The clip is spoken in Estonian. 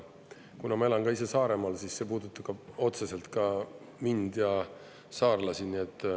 Kuna ma elan ka ise Saaremaal, siis see puudutab otseselt mind ja saarlasi.